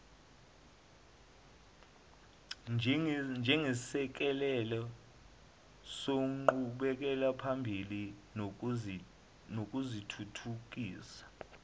njengesisekelo senqubekelaphambili nokuzithuthukisa